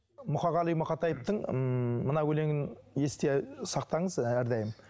мұқағали мақатаевтың ммм мына өлеңін есте сақтаңыз әрдайым